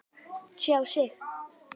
Tjá sig